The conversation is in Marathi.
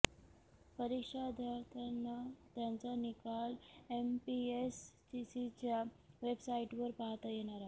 परीक्षार्थ्यांना त्यांचा निकाल एमपीएससीच्या वेबसाइटवर पाहता येणार आहे